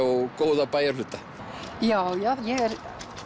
og góða bæjarhluta já já ég er